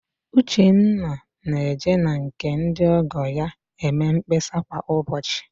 Uchenna na-eje na nke ndị ọ́gọ̀ ya eme mkpesa kwa ụbọchị